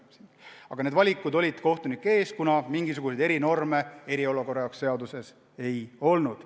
Aga niisugused valikud kohtunike ees olid, kuna mingisuguseid erinorme eriolukorra jaoks seaduses ei olnud.